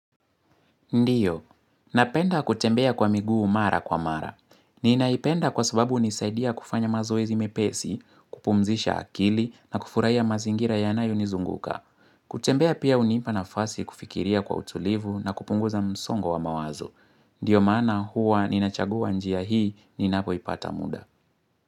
Ndiyo. Napenda kutembea kwa miguu mara kwa mara. Ninaipenda kwa sababu hunisaidia kufanya mazoezi mepesi, kupumzisha akili na kufurahia mazingira yanayo nizunguka. Kutembea pia hunipa nafasi kufikiria kwa utulivu na kupunguza msongo wa mawazo. Ndiyo maana huwa ninachagua njia hii ninapo ipata muda.